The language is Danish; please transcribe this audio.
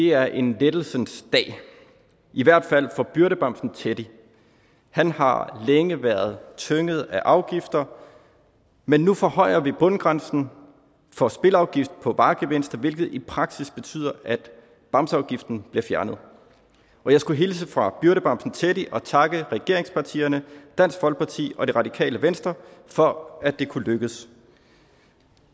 er en lettelsens dag i hvert fald for byrdebamsen teddy han har længe været tynget af afgifter men nu forhøjer vi bundgrænsen for spilafgift på varegevinster hvilket i praksis betyder at bamseafgiften bliver fjernet og jeg skulle hilse fra byrdebamsen teddy og takke regeringspartierne dansk folkeparti og det radikale venstre for at det kunne lykkes